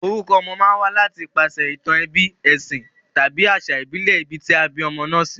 Orukọ ọmọ ma n wá láti ipasè ìtàn ebí, èsìn tàbí àsà ìbílè ibi tí a bí ọmọ náà sí